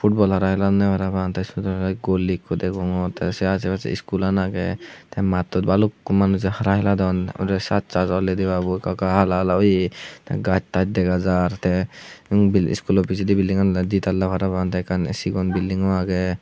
futbol hara hilonne parapang te siot ole ikko goli ikko degongor te ase pase iskulan agey te mattot balukko manuje hara hilodon ebotte sassas ollide degabo ekka ekka hala hala oye te gastas dega jar te umbil iskulo pisedi bilding an di talla parang te ekkan sigon bilding agey.